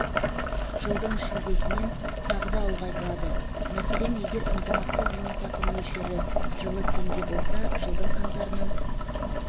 жылдың шілдесінен тағы да ұлғайтылады мәселен егер ынтымақты зейнетақы мөлшері жылы теңге болса жылдың қаңтарынан